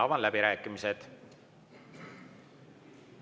Avan läbirääkimised.